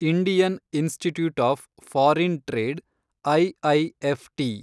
Indian institute of foreign trade, IIFT